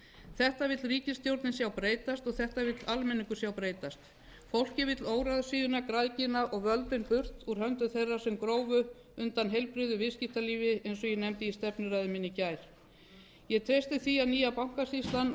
þetta vill ríkisstjórnin sjá breytast og þetta vill almenningur sjá breytast fólkið vill óráðsíuna græðgina og völdin burt úr höndum þeirra sem grófu undan heilbrigðu viðskiptalífi eins og ég nefndi í stefnuræðu minni í gær egtresti því að nýja bankasýslan